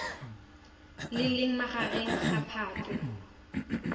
le leng magareng ga phatwe